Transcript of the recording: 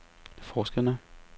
forskerne